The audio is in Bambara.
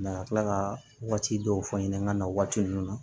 a ka tila ka waati dɔw fɔ n ɲɛna n ka na waati ninnu na